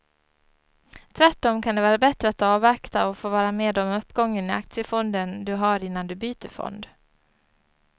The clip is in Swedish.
Tvärtom kan det vara bättre att avvakta och få vara med om uppgången i aktiefonden du har innan du byter fond.